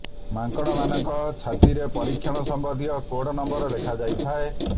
ମାଙ୍ଗଡ ମାନଙ୍କ ଛାତିରେ ପରୀକ୍ଷଣ ସମ୍ବନ୍ଧୀୟ କୋଡ୍ ନମ୍ବର ଲେଖାଯାଇଥାଏ